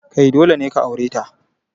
Kai, dole ne ka aure ta.